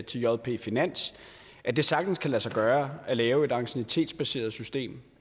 til jp finans at det sagtens kan lade sig gøre at lave et anciennitetsbaseret system